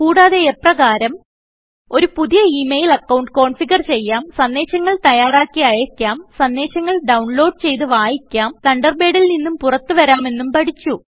കൂടാതെ എപ്രകാരം ഒരു പുതിയ ഇ മെയിൽ അക്കൌണ്ട് കോൺഫിഗർ ചെയ്യാം സന്ദേശങ്ങൾ തയ്യാറാക്കി അയക്കാം സന്ദേശങ്ങൾ ഡൌൺലോഡ് ചെയ്തു വായിക്കാം തണ്ടർബേഡിൽ നിന്നും പുറത്തു വരാമെന്നും പഠിച്ചു